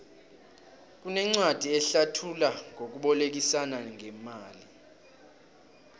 kunencwadi ehlathula ngokubolekisana ngemali